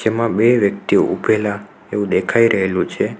આમાં બે વ્યક્તિઓ ઉભેલા એવું દેખાઈ રહેલું છે.